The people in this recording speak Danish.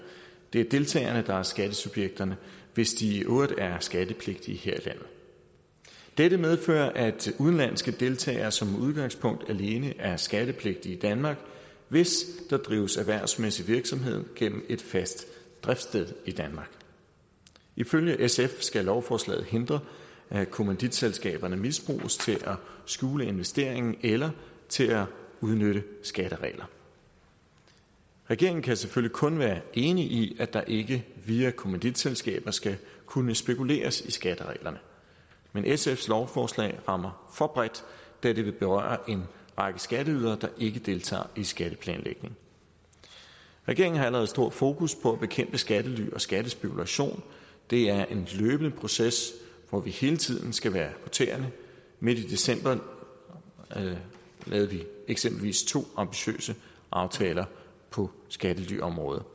det er deltagerne der er skattesubjekterne hvis de i øvrigt er skattepligtige her i landet dette medfører at udenlandske deltagere som udgangspunkt alene er skattepligtige i danmark hvis der drives erhvervsmæssig virksomhed gennem et fast driftssted i danmark ifølge sf skal lovforslaget hindre at kommanditselskaberne misbruges til at skjule investeringen eller til at udnytte skattereglerne regeringen kan selvfølgelig kun være enig i at der ikke via kommanditselskaberne skal kunne spekuleres i skattereglerne men sfs lovforslag rammer for bredt da det vil berøre en række skatteydere der ikke deltager i skatteplanlægning regeringen har allerede stor fokus på at bekæmpe skattely og skattespekulation det er en løbende proces hvor vi hele tiden skal være på tæerne midt i december lavede vi eksempelvis to ambitiøse aftaler på skattelyområdet